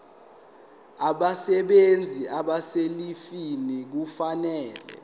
abasebenzi abaselivini kufanele